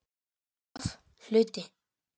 V Hluti